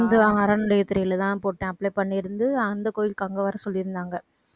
இந்து அறநிலையத் துறையிலதான் போட்டேன் apply பண்ணியிருந்து அந்த கோயிலுக்கு அங்க வர சொல்லி இருந்தாங்க.